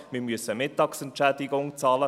Wir müssen Mittagsentschädigung bezahlen.